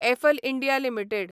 apple India limited